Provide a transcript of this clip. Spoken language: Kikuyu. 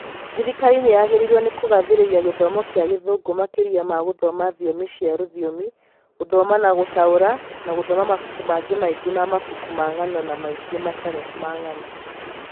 Thirikari nĩ yagĩrĩirwo nĩ kũgathĩrĩria gĩthomo kĩa Gĩthũngũ makĩria ma gũthoma thiomi cia rũthiomi, gũthoma na gũtaũra, na gũthoma mabuku mangĩ maingĩ ma mabuku ma ng'ano na mangĩ matarĩ ma ng'ano.